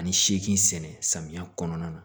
Ani seegin sɛnɛ samiya kɔnɔna na